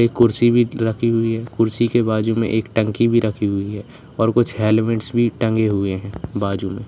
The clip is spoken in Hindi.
एक कुर्सी भी रखी हुई है कुर्सी के बाजू में एक टंकी भी रखी हुई है और कुछ हेलमेट्स भी टंगे हुए है बाजू मे--